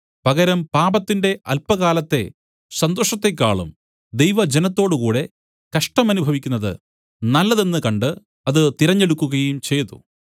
പകരം പാപത്തിന്റെ അല്പകാലത്തെ സന്തോഷത്തേക്കാളും ദൈവജനത്തോട് കൂടെ കഷ്ടമനുഭവിക്കുന്നത് നല്ലതെന്ന് കണ്ട് അത് തിരഞ്ഞെടുക്കുകയും ചെയ്തു